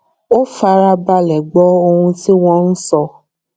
ó fara balè gbó ohun tí wón ń sọ